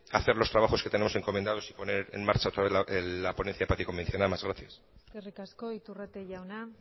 hacer los trabajos que tenemos encomendados y poner en marcha otra vez la ponencia de paz y convivencia nada más gracias eskerrik asko iturrate jauna